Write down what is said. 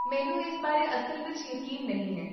ਮੈਨੂੰ ਇਸ ਬਾਰੇ ਅਸਲ ਵਿੱਚ ਯਕੀਨ ਨਹੀਂ ਹੈ